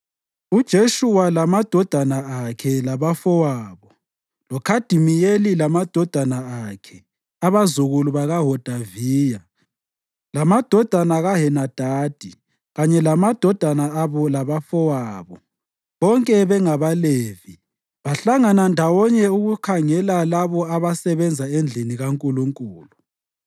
UJeshuwa lamadodana akhe labafowabo loKhadimiyeli lamadodana akhe (abazukulu bakaHodaviya) lamadodana kaHenadadi kanye lamadodana abo labafowabo, bonke bengabaLevi, bahlangana ndawonye ukukhangela labo ababesebenza endlini kaNkulunkulu.